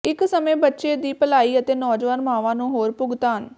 ਇੱਕ ਸਮੇਂ ਬੱਚੇ ਦੀ ਭਲਾਈ ਅਤੇ ਨੌਜਵਾਨ ਮਾਵਾਂ ਨੂੰ ਹੋਰ ਭੁਗਤਾਨ